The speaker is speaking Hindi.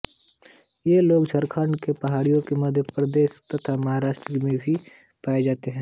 ये लोग झारखण्ड के पहाडियों मध्य प्रदेश तथा महाराष्ट्र में भी पाए जाते हैं